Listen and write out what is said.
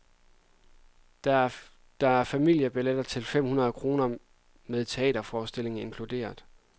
Der er familiebilletter til fem hundrede kroner med teaterforestillingen inkluderet.